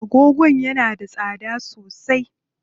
Agogon yana da tsada sosai.